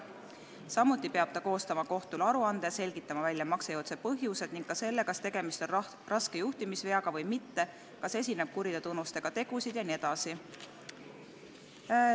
Samuti peab ta koostama kohtule aruande ning selgitama välja maksejõuetuse põhjused ja ka selle, kas tegemist on raske juhtimisveaga või mitte, kas esineb kuritöötunnustega tegusid jne.